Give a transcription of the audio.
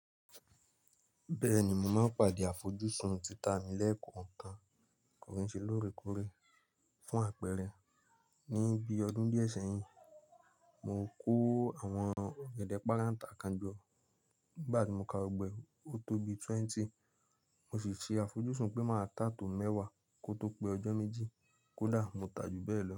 Bẹ́ẹ̀ni mo máa ń pàdé àfojúsùn títà mi lẹ́ẹ̀kan kan tó fi ṣe lóore kóre. Fún àpẹẹrẹ, ní bí i ọdún díẹ̀ sẹ́yìn, mo kó àwọn ọ̀gẹ̀dẹ̀ párantà kan jọ. Nígbà tí mo ka gbogbo ẹ́, ó tó bi twenty. Mo sì ṣe àfojúsùn pé màá ta to mẹ́wàá kó tó pé ọjọ́ méjì kódà mo tà á jù bẹ́ẹ̀ lọ.